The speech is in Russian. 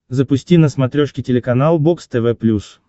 запусти на смотрешке телеканал бокс тв плюс